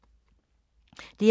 DR1